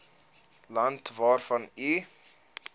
land waarvan u